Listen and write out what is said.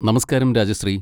നമസ്കാരം രാജശ്രീ.